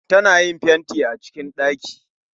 Ta na yin fenti a cikin ɗaki